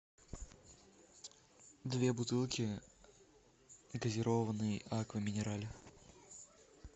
две бутылки газированной аква минерале